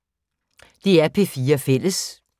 DR P4 Fælles